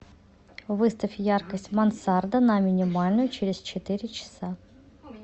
выставь яркость мансарда на минимальную через четыре часа